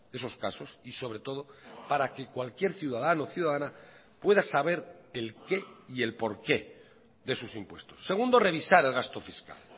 esos casos y sobre todo para que cualquier ciudadano o ciudadana pueda saber el qué y el por qué de sus impuestos segundo revisar el gasto fiscal